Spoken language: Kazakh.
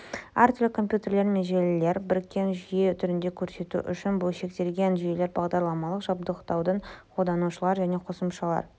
әртүрлі компьютерлер мен желілерді біріккен жүйе түрінде көрсету үшін бөлшектелген жүйелер бағдарламалық жабдықтаудың қолданушылар және қосымшалар